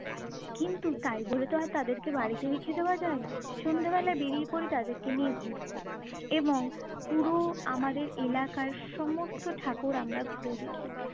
কিন্তু তাই বলে তো আর তাদেরকে বাড়িতে রেখে দেওয়া যায় না! সন্ধ্যেবেলায় বেরিয়ে পড়ি তাদেরকে নিয়ে ঘুরতে এবং পুরো আমাদের এলাকার সমস্ত ঠাকুর আমরা ঘুরে দেখি।